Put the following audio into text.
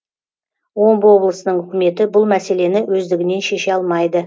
омбы облысының үкіметі бұл мәселені өздігінен шеше алмайды